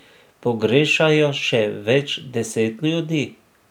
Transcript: Pogrešajo še več deset ljudi.